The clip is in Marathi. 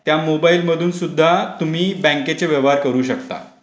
त्या मोबाईल मधून सुद्धा तुम्ही बँकेचे व्यवहार करू शकता.